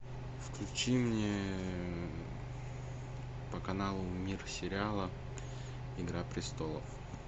включи мне по каналу мир сериала игра престолов